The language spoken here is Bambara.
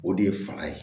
O de ye faga ye